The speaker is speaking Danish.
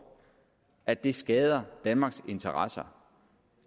at det skader danmarks interesser